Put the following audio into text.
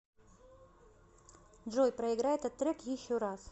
джой проиграй этот трек еще раз